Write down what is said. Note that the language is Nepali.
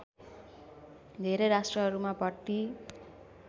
धेरै राष्ट्रहरूमा भट्टी